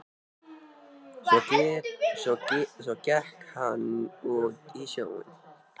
Svo gekk hann út í sjóinn.